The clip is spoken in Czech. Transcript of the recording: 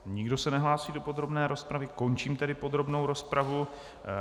Nikdo se nehlásí do podrobné rozpravy, končím tedy podrobnou rozpravu.